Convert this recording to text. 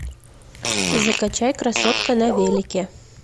закачай красотка на велике